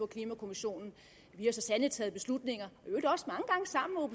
klimakommissionen vi har så sandelig taget beslutninger